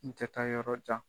N tɛ taa yɔrɔ jan.